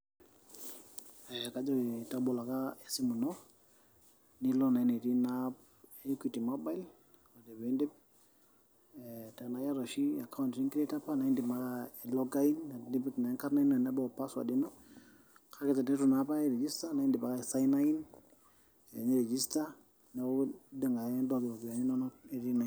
Kajoki tabolo taa esimu ino, niloo naa enetii Ina app e equity mobile, ore pee indipa. Tanaa iata oshi account nikreto opa anaa indim ai log in , nintobir naa enkarna ino arashu password ino. Kake teneitu noo opa airegisto naa indim aisaina in, niregista , neaku indim ake aitayu iropiani inono